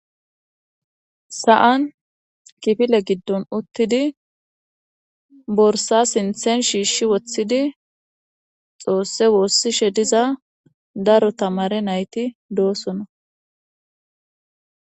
Saan kifile giddon uttidi borsa sinthen shiishshi woththidi xoosse woossishe diza daro tamare nayti doosona.